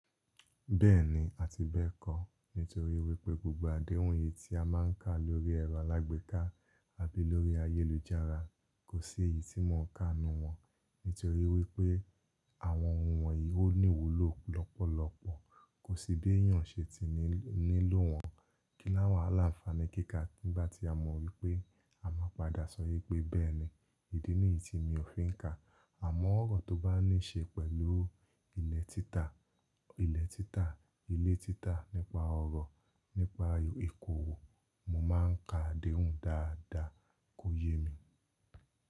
Bẹ́ẹ̀ni, a ti bẹ́ẹ̀ kọ́. Nítorí wípé gbogbo àdéhùn yìí tí a máà ń kà lórí ẹ̀rọ alágbèéká àbí lórí ayélujára kò sí èyí tí mò ń ka nnù wọ́n. Nítorí wípé àwọn ohun wọ̀nyí ó ní ìwúlò lọ́pọ̀lọpọ̀, kò sí bí èèyàn ṣe ti nílò wọ́n. Kíláwàhà l'áńfani kíká nígbà tí a mọ wípé a máa padà sọ wipé bẹ́ẹ̀ni, ìdí nìyí tí mi ò fi ń ka. Àmọ́ ọ̀rọ̀ tó bá níí ṣe pẹ̀lú ilẹ̀ títà, ilẹ̀ títà, ile títà nípa ọ̀rọ̀, nípa ìkówó, mò ń ka àdéhùn dáadáa kò yé mi.